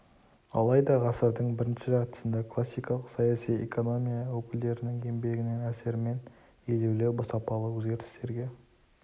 алайда ғасырдың бірінші жартысында классикалық саяси экономия өкілдерінің еңбегінің әсерімен елеулі сапалы өзгерістерге